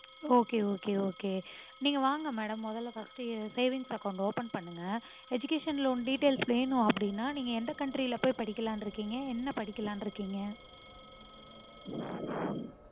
okay okay okay நீங்க வாங்க madam மொதல்ல first savings account open பண்ணுங்க. educational loan details வேணும் அப்புடின்னா நீங்க எந்த country ல போயி படிக்கலாம்னு இருக்கீங்க? என்ன படிக்கலாம்னு இருக்கீங்க?